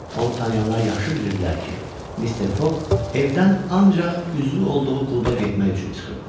Onu tanıyanlar yaxşı bilirdilər ki, Mister Foq evdən ancaq üzvü olduğu kluba getmək üçün çıxırdı.